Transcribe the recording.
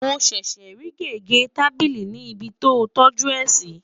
mọ ṣẹṣẹ rí gégé tábìlì ní ibì tí o toju é si